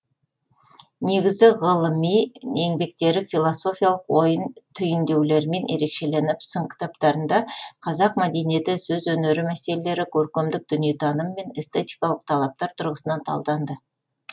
негізгі ғылылыми еңбектері философиялық ой түйіндеулерімен ерекшеленіп сын кітаптарында қазақ мәдениеті сөз өнері мәселелері көркемдік дүниетаным мен эстетикалық талаптар тұрғысынан талданды